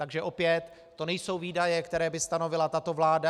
Takže opět, to nejsou výdaje, které by stanovila tato vláda.